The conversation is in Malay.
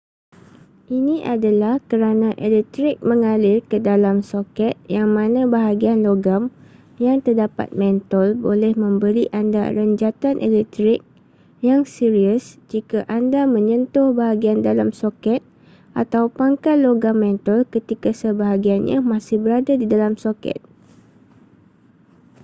ini adalah kerana elektrik mengalir ke dalam soket yang mana bahagian logam yang terdapat mentol boleh memberi anda renjatan elektrik yang serius jika anda menyentuh bahagian dalam soket atau pangkal logam mentol ketika sebahagiannya masih berada di dalam soket